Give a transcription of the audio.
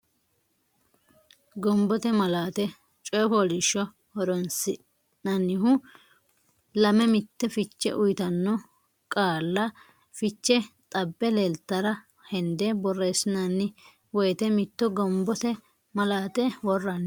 Gombote malaate coy fooliishsho horonsi nannihu lame mitte fiche uytanno qaalla fiche xabbe leeltara hende borreessinanni woyte mitto gombote malaati worranni.